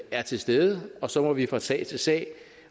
er til stede og så må vi fra sag til sag